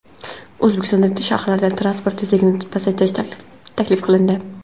O‘zbekiston shaharlarida transport tezligini pasaytirish taklif qilindi.